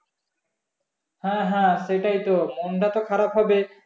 হ্যাঁ হ্যাঁ সেটাই তো মনটা তো খারাপ হবেই